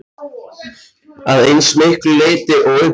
Að eins miklu leyti og unnt er.